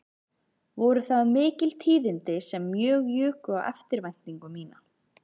Voru það mikil tíðindi sem mjög juku á eftirvæntingu mína